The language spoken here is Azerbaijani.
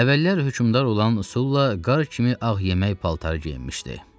Əvvəllər hökmdar olan Sula qar kimi ağ yemək paltarı geyinmişdi.